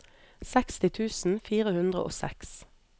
seksti tusen fire hundre og seks